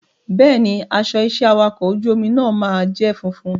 Bẹ́ẹ̀ni, aṣọ iṣẹ́ awakọ̀ ojú omi náà máa jẹ́ funfun.